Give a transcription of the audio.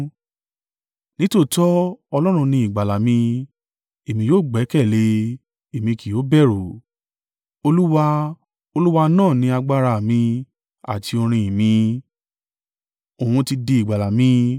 Nítòótọ́ Ọlọ́run ni ìgbàlà mi, èmi yóò gbẹ́kẹ̀lé e èmi kì yóò bẹ̀rù. Olúwa, Olúwa náà ni agbára à mi àti orin ìn mi, òun ti di ìgbàlà mi.”